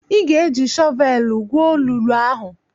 Ị ga-eji shọvelụ gwuo olulu ahụ!